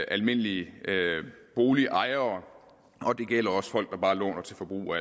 almindelige boligejere og det gælder også for folk der bare låner til forbrug og